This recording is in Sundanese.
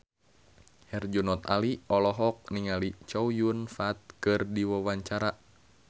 Herjunot Ali olohok ningali Chow Yun Fat keur diwawancara